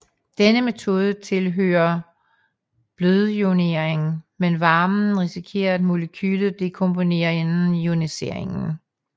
Denne metode tilhøre blødioniering men varmen risikere at molekylet dekomponere inden ioniseringen